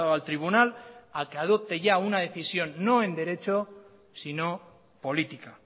al tribunal a que adopte ya una decisión no en derecho sino política